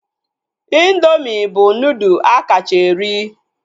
Indoomị bụ nudụ akacha eri